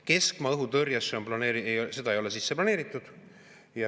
Keskmaa õhutõrjet ei ole sisse planeeritud.